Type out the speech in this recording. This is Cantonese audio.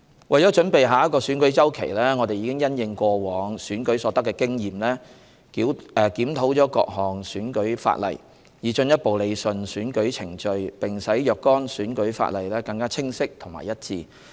為準備下個選舉周期，我們已因應過往選舉所得的經驗，檢討了各項選舉法例，以進一步理順選舉程序並使若干選舉法例更清晰和一致。